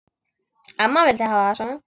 Amma vildi hafa það svona.